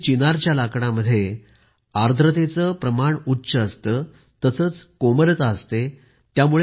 खोऱ्यातील चिनारच्या लाकडामध्ये उच्च आर्द्रता प्रमाण असते तसेच कोमलता असते